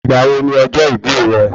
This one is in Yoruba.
Ìgbà wo ni ọjọ́ ìbí rẹ?